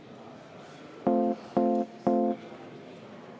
Igal juhul Sotsiaaldemokraatliku Erakonna fraktsiooni nimel ma kutsun seda eelnõu toetama.